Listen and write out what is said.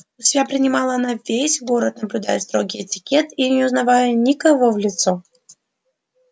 у себя принимала она весь город наблюдая строгий этикет и не узнавая никого в лицо